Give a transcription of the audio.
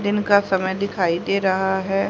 दिन का समय दिखाई दे रहा है।